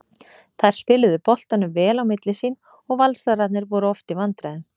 Þær spiluðu boltanum vel á milli sín og Valsararnir voru oft í vandræðum.